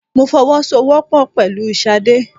Mo fọwọ́ sọ wọ́pọ̀ pẹ̀lú sade.